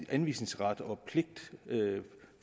anvisningsret og pligt